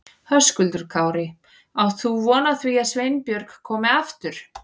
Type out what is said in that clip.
Höskuldur Kári: Átt þú von á því að Sveinbjörg komi aftur?